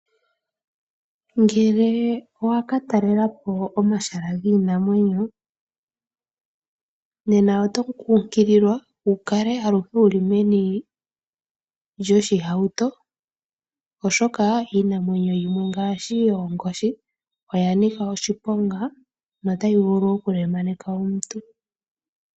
Ngele owa ka talelapo omahala giinamwenyo nena oto kunkililwa wu kale aluhe wuli meni lyoshihauto oshoka iinamwenyo yimwe ngaashi Oonkoshi oya nika oshiponga no tayi vulu oku lemaneka omuntu.